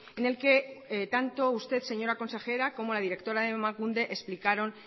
en el que tanto usted señora consejera como la directora de emakunde explicaron